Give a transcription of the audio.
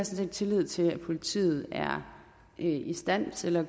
set tillid til at politiet er i stand til at